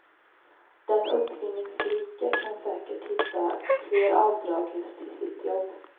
Den uppfinningsrike kan säkert hitta fler avdrag just i sitt jobb.